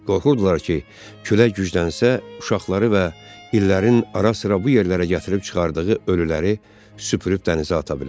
Qorxurdular ki, külək güclənsə, uşaqları və illərin ara-sıra bu yerlərə gətirib çıxardığı ölüləri süpürüb dənizə ata bilər.